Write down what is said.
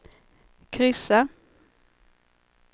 kryssa